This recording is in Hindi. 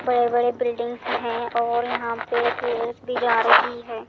बड़े-बड़े बिल्डिंग्स हैं और यहां पे रेल्स भी जा रही हैं।